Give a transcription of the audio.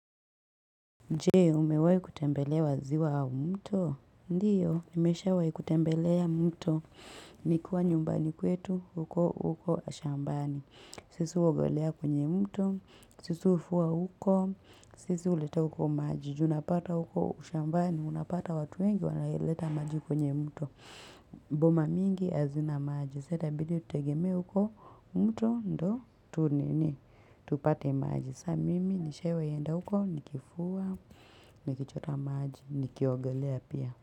Jee, umewai kutembelea wa ziwa au mto? Ndiyo, nimeshawai kutembelea mto. Nilikuwa nyumbani kwetu, huko, huko, shambani. Sisi huogolea kwenye mto, Sisi hufuwa huko, Sisi huleta huko maji. Juu unapata huko, shambani, unapata watu wengi, wanaoleta maji kwenye mto. Boma mingi hazina maji. Saa itabidi tutegemea huko, mto, ndo, tu nini, tupate maji. Sa mimi, nishawai enda huko, nikifua, nikichota maji, nikiogelea pia.